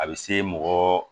A bɛ se mɔgɔ